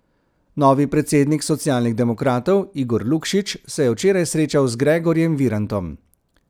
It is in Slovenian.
Novi predsednik socialnih demokratov Igor Lukšič se je včeraj srečal z Gregorjem Virantom.